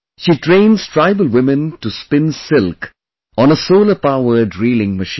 She trains tribal women to spin silk on a solarpowered reeling machine